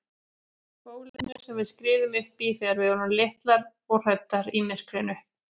Bólinu sem við skriðum uppí þegar við vorum litlar og hræddar í myrkrinu.